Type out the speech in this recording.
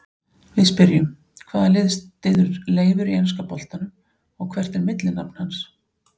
Við spyrjum: Hvaða lið styður Leifur í enska boltanum og hvert er millinafn hans?